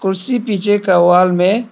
इसी पीछे का वॉल में--